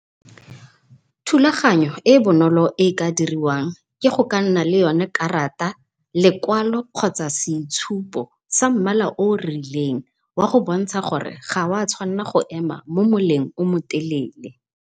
Thulaganyo e bonolo e ka diriwang, ke go ka nna le yone karata, lekwalo kgotsa seitshupo sa mmala o rileng wa go bontsha gore ga wa tshwanna go ema mo moleng o motelele.